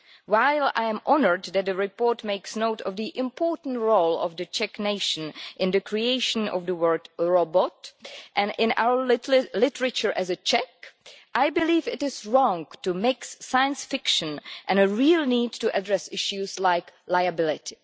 While I am honoured that the report makes note of the important role of the Czech nation in the creation of the word robot' and in our literature as a Czech, I believe it is wrong to mix science fiction and a real need to address issues like liability.